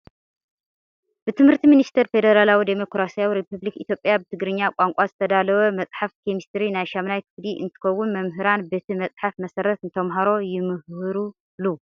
ብትምህርቲ ሚኒስተር ፌዴራላዊ ዲሞክራሳዊ ሪፐብሊክ ኢትዮጵያ ብትግርኛ ቋንቋ ዝተዳለወ መፅሓፍ ኬሚስትሪ ናይ ሻምናይ ክፍሊ እንትከውን መምሃራን በቲ መፅሓፍ መሰረት ንተማሃሮ ይምህሩሉ።